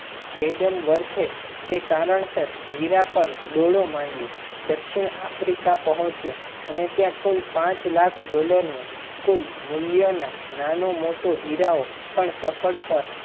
adam warth તે કારણ સર હીરા પર દોરડો મંડ્યો દક્ષિણ આફ્રિકા પોંહચીયો. ત્યાં કુલ પાંચ લાખ dollar નું કુલ મૂલ્ય ના નાનો મોટો હીરા નો સફળ